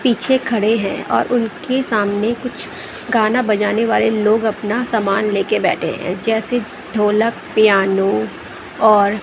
पीछे खड़े हैं और उनके सामने कुछ गाना बजाने वाले लोग अपना सामान लेकर बैठे हैं जैसे ढोलक पियानो और--